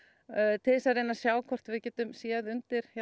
til þess að reyna að sjá hvort við getum séð undir